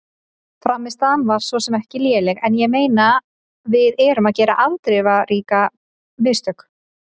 Frammistaðan var svo sem ekki léleg en ég meina við erum að gera afdrifarík mistök.